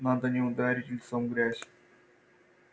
надо не ударить лицом в грязь